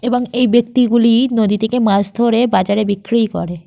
এবং এই ব্যক্তিগুলি নদী থেকে মাছ ধরে বাজারে বিক্রি করে।